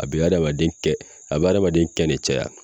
A be adamaden kɛn a be adamaden kɛn ne caya